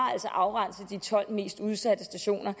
afrenset de tolv mest udsatte stationer